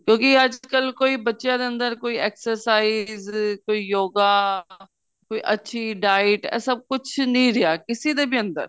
ਕਿਉਂਕਿ ਅੱਜਕਲ ਕੋਈ ਬੱਚਿਆਂ ਦੇ ਅੰਦਰ ਕੋਈ exercise ਕੋਈ yoga ਕੋਈ ਅੱਛੀ diet ਇਹ ਸਭ ਕੁੱਝ ਨੀਂ ਰਿਹਾ ਕਿਸੇ ਦੇ ਵੀ ਅੰਦਰ